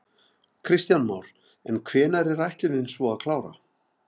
Kristján Már: En hvenær er ætlunin svo að klára?